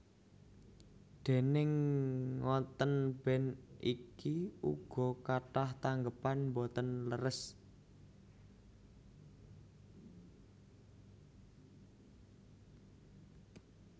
Déning ngontèn band iki uga kathah tanggépan boten leres